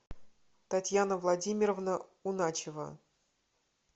татьяна владимировна уначева